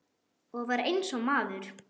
Og var eins og maður.